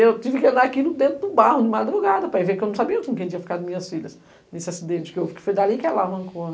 E eu tive que andar aqui dentro do barro de madrugada para ver, porque eu não sabia onde tinham ficado minhas filhas nesse acidente que houve, que foi dali que ela arrancou.